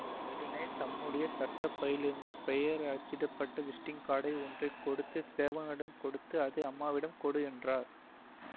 உடனே தம்முடைய சட்ட பையிலிருந்து பெயர் அச்சிட்ட விஸிட்டிங் கார்டு ஒன்றை எடுத்து சேவகனிடம் கொடுத்து இதை அம்மாவிடம் கொடு என்றார்